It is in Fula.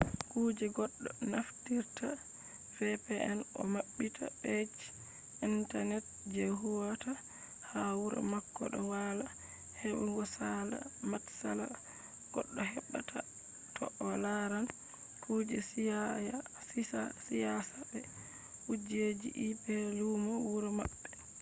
kuje goɗɗo naftirta vpn o maɓɓita pej intanet je huwata ha wuro mako ɗo walla heɓugo saala matsala goɗɗo heɓɓa ta to o laran kuje siyasa be kujeji ip lumo wuro maɓɓe